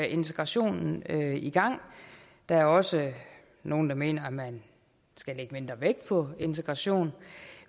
integrationen i gang der er også nogle der mener at man skal lægge mindre vægt på integration